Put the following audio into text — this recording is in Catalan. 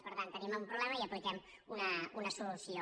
per tant tenim un problema i hi apliquem una solució